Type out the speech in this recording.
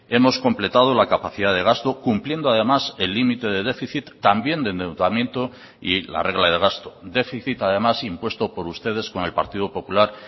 hemos completado la capacidad de gasto cumpliendo además el límite de déficit también de endeudamiento y la regla de gasto déficit además impuesto por ustedes con el partido popular